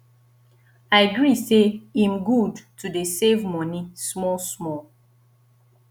i gree say im good to dey save money small small